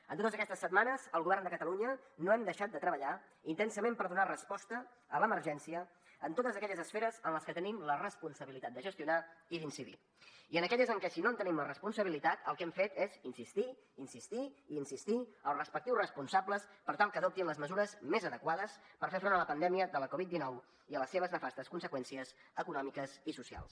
en totes aquestes setmanes el govern de catalunya no hem deixat de treballar intensament per donar resposta a l’emergència en totes aquelles esferes en les que tenim la responsabilitat de gestionar i d’incidir i en aquelles en què si no en tenim la responsabilitat el que hem fet és insistir insistir i insistir als respectius responsables per tal que adoptin les mesures més adequades per fer front a la pandèmia de la covid dinou i a les seves nefastes conseqüències econòmiques i socials